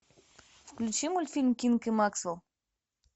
включи мультфильм кинг и максвелл